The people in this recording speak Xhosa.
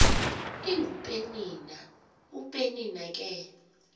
ingupenina upenina ke